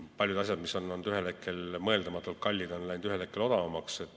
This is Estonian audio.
Paljud asjad, mis on olnud ühel hetkel mõeldamatult kallid, on ühel hetkel odavamaks läinud.